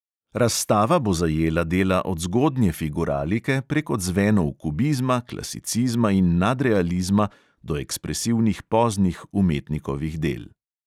Razstava bo zajela dela od zgodnje figuralike, prek odzvenov kubizma, klasicizma in nadrealizma do ekspresivnih poznih umetnikovih del.